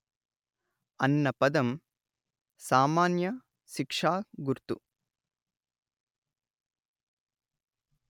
అన్న పదం సామాన్య శిక్షా గుర్తు